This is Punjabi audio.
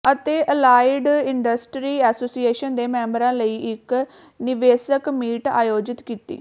ਅਤੇ ਅਲਾਈਡ ਇੰਡਸਟਰੀ ਐਸੋਸੀਏਸ਼ਨ ਦੇ ਮੈਂਬਰਾਂ ਲਈ ਇੱਕ ਨਿਵੇਸ਼ਕ ਮੀਟ ਆਯੋਜਿਤ ਕੀਤੀ